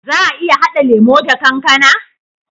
Za a iya hada lemo da kankAna?